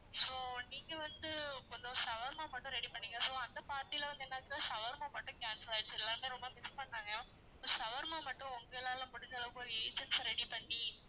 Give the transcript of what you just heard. so நீங்க வந்து கொஞ்சம் shawarma மட்டும் ready பண்ணீங்க so அந்த party ல வந்து என்னாச்சுன்னா shawarma மட்டும் cancel ஆகியிருச்சு எல்லாமே ரொம்ப miss பண்ணாங்க shawarma மட்டும் உங்களால முடிஞ்ச அளவுக்கு ஒரு agency அ ready பண்ணி